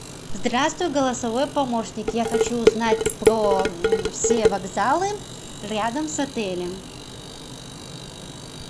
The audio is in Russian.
здравствуй голосовой помощник я хочу узнать про все вокзалы рядом с отелем